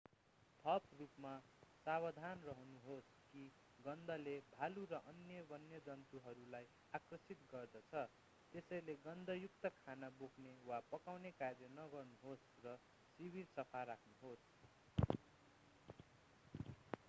थप रूपमा सावधान रहनुहोस् कि गन्धले भालु र अन्य वन्यजन्तुहरूलाई आकर्षित गर्दछ त्यसैले गन्ध युक्त खाना बोक्ने वा पकाउने कार्य नगर्नुहोस् र शिविर सफा राख्नुहोस्